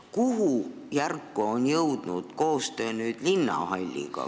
Kuhu järku on jõudnud koostöö linnahalli osas?